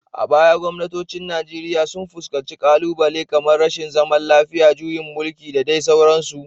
A baya gwamnatocin Najeriya sun fuskanci ƙalubale kamar rashin zaman lafiya, juyin mulki, da dai sauransu.